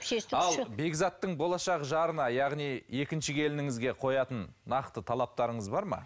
ал бекзаттың болашақ жарына яғни екінші келініңізге қоятын нақты талаптарыңыз бар ма